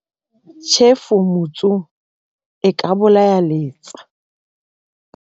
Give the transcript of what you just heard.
Tjhefu motsung e ka bolaya letsa.